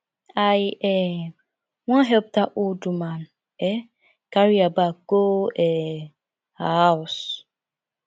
i um wan help dat old woman um carry her bag go um her house